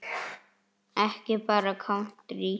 Ekki bara kántrí?